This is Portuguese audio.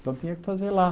Então tinha que fazer lá.